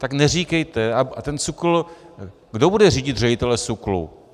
Tak neříkejte - a ten SÚKL, kdo bude řídit ředitele SÚKLu?